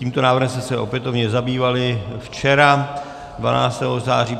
Tímto návrhem jsme se opětovně zabývali včera 12. září.